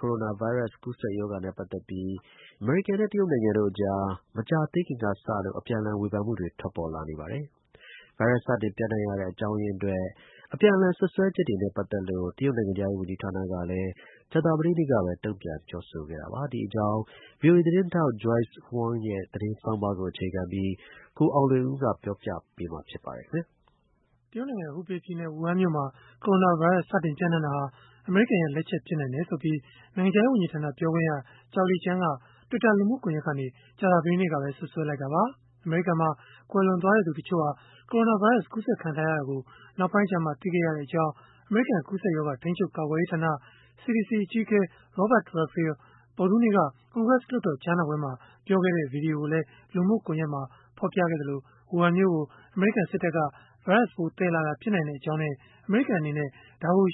ကိုရိုနာဗိုင်းရပ်စ် ကူးစက်ပျံ့နှံ့မှုနဲ့ ပတ်သက်ပြီး အမေရိကန်နဲ့ တရုတ်နိုင်ငံတို့ကြား မကြာသေးခင်ကစလို့ အပြန်အလှန် ဝေဖန်မှုတွေ ထွက်ပေါ်လာနေပါတယ်။ ဗိုင်းရပ်စ် စတင်ပျံ့နံှ့တဲ့ အကြောင်းရင်းအတွက် အပြန်အလှန် စွပ်စွဲချက်တွေနဲ့ ပတ်သက်လို့ တရုတ်နိုင်ငံခြားရေး ဝန်ကြီးဌာနကလည်း ကြာသပတေးနေ့ကပဲ တုံ့ပြန်ပြောဆိုခဲ့တာပါ။ ဒီအကြောင်း ဗွီအိုအေသတင်းထောက် Joyce Huang ရဲ့ သတင်းဆောင်းပါးကို အခြေခံပြီး ကိုအောင်လွင်ဦးက ပြောပြပေးမှာ ဖြစ်ပါတယ်။ တရုတ်နိုင်ငံ ဟူဘေးပြည်နယ်၊ ဝူဟန်မြို့မှာ ကိုရိုနာဗိုင်းရပ်စ် စတင်ပျံ့နှံ့ခဲ့တာဟာ အမေရိကန်ရဲ့ လက်ချက် ဖြစ်နိုင်တယ်ဆိုပြီး နိုင်ငံခြားရေး ဝန်ကြီးဌာန ပြောခွင့်ရ Zhao Lijian က Twitter လူမှုကွန်ရက်ကနေ ကြာသပတေးနေ့ကပဲ စွပ်စွဲလိုက်တာပါ။ အမေရိကန်မှာ ကွယ်လွန်သွားသူ တချို့ဟာ ကိုရိုနာဗိုင်းရပ်စ် ကူးစက်ခံထားရတာကို နောက်ပိုင်းကျမှ သိရှိခဲ့ရကြောင်း အမေရိကန် ကူးစက်ရောဂါ ထိန်းချုပ်ကာကွယ်ရေးဌာန (CDC) အကြီးအကဲ Robert Redfield ဗုဒ္ဓဟူးနေ့က ကွန်ဂရက်လွှတ်တော် ကြားနာပွဲမှာ ပြောခဲ့တဲ့ ဗွီဒီယိုကိုလည်း လူမှုကွန်ရက်မှာ ဖော်ပြခဲ့သလို၊ ဝူဟန်မြို့ကို အမေရိကန် စစ်တပ်က ဗိုင်းရပ်စ်ပိုး သယ်လာတာ ဖြစ်နိုင်ကြောင်းနဲ့ အမေရိကန် အနေနဲ့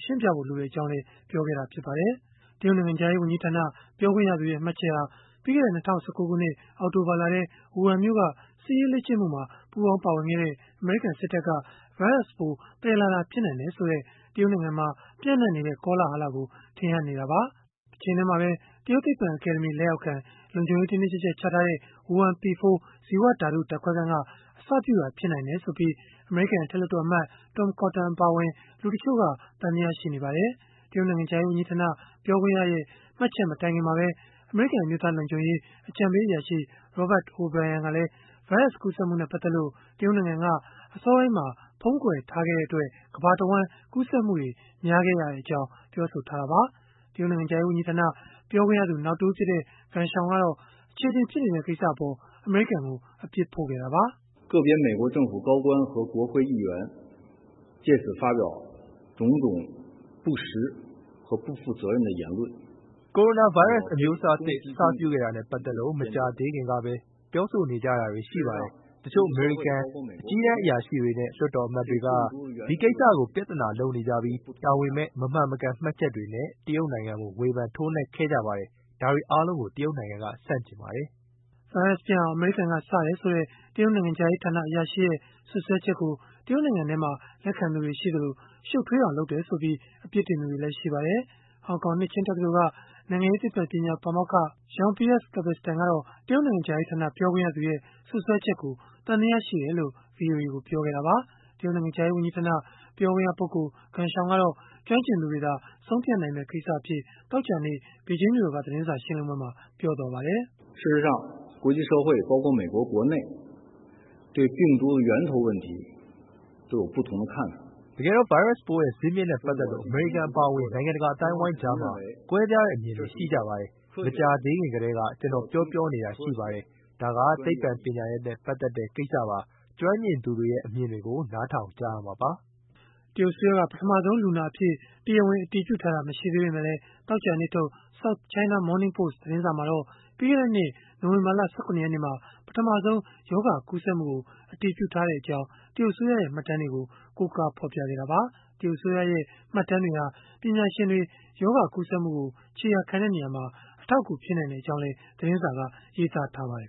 ရှင်းပြဖို့ လိုကြောင်းလည်း ပြောခဲ့ပါတယ်။ တရုတ်နိုင်ငံခြားရေး ဝန်ကြီးဌာန ပြောခွင့်ရသူရဲ့ မှတ်ချက်ဟာ ပြီးခဲ့တဲ့ ၂၀၁၉ ခုနှစ် အောက်တိုဘာလထဲ ဝူဟန်မြို့က စစ်ရေးလေ့ကျင့်မှုမှာ ပူးပေါင်းပါဝင်ခဲ့တဲ့ အမေရိကန်စစ်တပ်က ဗိုင်းရပ်စ်ပိုး သယ်လာတာ ဖြစ်နိုင်တယ်ဆိုတဲ့ တရုတ်နိုင်ငံမှာ ပျံ့နှံ့နေတဲ့ ကောလဟလကို ထင်ဟပ်နေတာပါ။ တချိန်တည်းမှာပဲ တရုတ်သိပ္ပံအကယ်ဒမီ လက်အောက်ခံ လုံခြုံရေးတင်းတင်းကျပ်ကျပ် ချထားတဲ့ ဝူဟန် P4 ဇီဝဓာတု ဓာတ်ခွဲခန်းက အစပြုတာ ဖြစ်နိုင်တယ်ဆိုပြီး အမေရိကန် အထက်လွှတ်တော်အမတ် Tom Cotton အပါအဝင် လူတချို့က သံသယ ရှိနေကြပါတယ်။ တရုတ်နိုင်ငံခြားရေးဝန်ကြီးဌာန ပြောခွင့်ရရဲ့ မှတ်ချက်မတိုင်ခင်မှာပဲ အမေရိကန် အမျိုးသား လုံခြုံရေး အကြံပေးအရာရှိ Robert O’Brien ကလည်း ဗိုင်းရပ်စ်ကူးစက်မှုနဲ့ ပတ်သက်လို့ တရုတ်နိုင်ငံက အစောပိုင်းမှာ ဖုံးကွယ်ထားခဲ့တဲ့အတွက် ကမ္ဘာတဝှမ်း ကူးစက်မှုတွေ များခဲ့ရကြောင်း ပြောဆိုခဲ့တာပါ။ တရုတ်နိုင်ငံခြားရေး ဝန်ကြီးဌာန ပြောခွင့်ရသူ နောက်တဦးဖြစ်တဲ့ Geng Shuang ကတော့ အချေအတင် ဖြစ်နေတဲ့ ကိစ္စအပေါ် အမေရိကန်ကို အပြစ်ဖို့ခဲ့တာပါ။ “ကိုရိုနာဗိုင်းရပ်စ် အမျိုးအစားသစ် အစပြုခဲ့တာနဲ့ ပတ်သက်လို့ မကြာသေးခင်ကပဲ ပြောဆိုနေကြတာတွေ ရှိပါတယ်။ တချို့ အမေရိကန် အကြီးတန်းအရာရှိတွေနဲ့ လွှတ်တော်အမတ်တွေက ဒီကိစ္စကို ပြဿနာလုပ်နေကြပြီး တာဝန်မဲ့ မမှန်မကန် မှတ်ချက်တွေနဲ့ တရုတ်နိုင်ငံကို ဝေဖန်ထိုးနှက်ခဲ့ကြပါတယ်။ ဒါတွေအားလုံးကို တရုတ်နိုင်ငံက ဆန့်ကျင်ပါတယ်။” ဗိုင်းရပ်စ်ပျံ့အောင် အမေရိကန်က စတယ်ဆိုတဲ့ တရုတ်နိုင်ငံခြားရေးဌာန အရာရှိရဲ့ စွပ်စွဲချက်ကို တရုတ်နိုင်ငံထဲမှာ လက်ခံသူတွေ ရှိသလို ရှုပ်ထွေးအောင် လုပ်တယ်ဆိုပြီး အပြစ်တင်သူတွေလည်း ရှိပါတယ်။ ဟောင်ကောင် နှစ်ခြင်းတက္ကသိုလ်က နိုင်ငံရေးသိပ္ပံပညာဌာန ပါမောက္ခ Jean-Pierre Cabestan ကတော့ တရုတ်နိုင်ငံခြားရေးဌာန ပြောခွင့်ရသူရဲ့ စွပ်စွဲချက်ကို သံသယရှိတယ်လို့ ဗွီအိုအေကို ပြောခဲ့တာပါ။ တရုတ်နိုင်ငံခြားရေး ဝန်ကြီးဌာန ပြောခွင့်ရ Geng Shuang ကတော့ ကျွမ်းကျင်သူတွေသာ ဆုံးဖြတ်နိုင်မယ့် ကိစ္စအဖြစ် သောကြာနေ့ ဘေဂျင်းမြို့တော်က သတင်းစာရှင်းလင်းပွဲမှာ ပြောသွားပါတယ်။ “တကယ်တော့ ဗိုင်းရပ်စ်ပိုးရဲ့ ဇစ်မြစ်နဲ့ ပတ်သက်လို့ အမေရိကန် အပါအဝင် နိုင်ငံတကာ အသိုင်းအဝန်းကြားမှာ ကွဲပြားတဲ့ အမြင်တွေ ရှိကြပါတယ်။ မကြာသေးခင် ကတည်းက ကျနော် ပြောနေတာ ရှိပါတယ်၊ ဒါက သိပ္ပံပညာရပ်နဲ့ ပတ်သက်တဲ့ ကိစ္စပါ၊ ကျွမ်းကျင်သူတွေရဲ့ အမြင်တွေကို နားထောင်ကြရမှာပါ။” တရုတ်အစိုးရက ပထမဆုံးလူနာအဖြစ် တရားဝင် အတည်ပြုထားတာ မရှိသေးပေမဲ့လည်း သောကြာနေ့ထုတ် South China Morning Post သတင်းစာမှာတော့ ပြီးခဲ့တဲ့နှစ် နိုဝင်ဘာလ ၁၇ ရက်နေ့မှာ ပထမဆုံး ရောဂါကူးစက်မှုကို အတည်ပြုထားခဲ့ကြောင်း တရုတ်အစိုးရရဲ့ မှတ်တမ်းတွေကို ကိုးကားပြီး ဖော်ပြခဲ့တာပါ။ တရုတ်အစိုးရရဲ့ မှတ်တမ်းတွေဟာ ပညာရှင်တွေ ရောဂါကူးစက်မှုကို ခြေရာခံရာမှာ အထောက်အကူ ဖြစ်နိုင်ကြောင်းလည်း သတင်းစာက ရေးသားထားပါတယ်